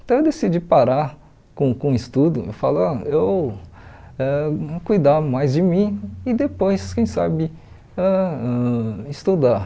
Então, eu decidi parar com com o estudo, e falar eu ãh vou cuidar mais de mim e depois, quem sabe, ãh estudar.